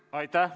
Aitäh!